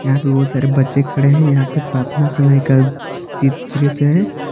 यहां पे बहुत सारे बच्चे खड़े हैं यहां पे प्रार्थना समय का दृश्य है।